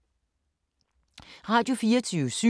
Radio24syv